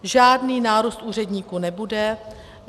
Žádný nárůst úředníků nebude.